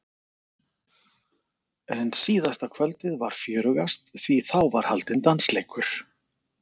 En síðasta kvöldið var fjörugast því þá var haldinn dansleikur.